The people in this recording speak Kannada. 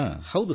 ಹೌದು ಸರ್